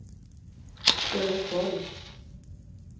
Sölvesborg